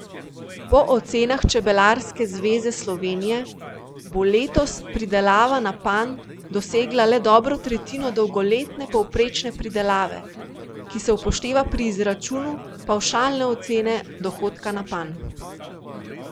Po ocenah Čebelarske zveze Slovenije bo letos pridelava na panj dosegla le dobro tretjino dolgoletne povprečne pridelave, ki se upošteva pri izračunu pavšalne ocene dohodka na panj.